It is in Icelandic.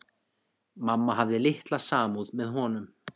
Mamma hafði litla samúð með honum.